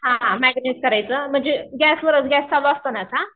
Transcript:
हां मॅग्रानेत करायचं म्हणजे गॅसवरच गॅस चालू असतानाच. हां